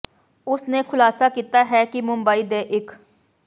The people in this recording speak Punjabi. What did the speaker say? ਉਸ ਨੇ ਖੁਲਾਸਾ ਕੀਤਾ ਹੈ ਕਿ ਮੁੰਬਈ ਦੇ ਇੱਕ